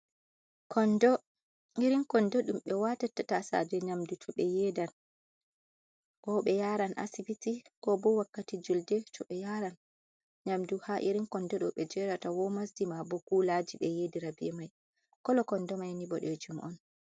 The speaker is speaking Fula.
Kondo irin kondo dum be watata tasaje nyamdu to be yeedan, ko be yaran asbti ko bo wakkati julde to be yaran nyamdu, ha irin kondo ɗo ɓe yerata wo masjima bo kulaji be yedira ɓe mai kolo kondo mai ni boɗejum on.